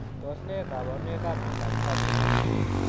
Tos ne kabarunoik ap Miondop Fabry?